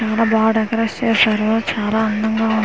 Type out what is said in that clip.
చాలా బాగా డెకోరేట్ చేశారు చాలా అందంగా ఉంది .]